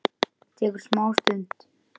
Tekur smá stund.